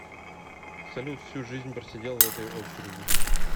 салют всю жизнь просидел в этой очереди